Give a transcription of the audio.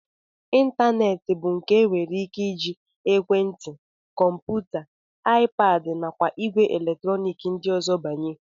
Ịntaneetị bụ nke e nwere ike iji ekwentị, kọmputa, iPad nakwa ìgwè eletrọnik ndị ọzọ banye